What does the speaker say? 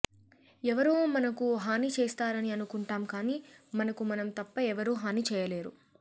ఎవరో మనకు హాని చేస్తారని అనుకుంటాం కాని మనకు మనం తప్ప ఎవరూ హాని చేయలేరు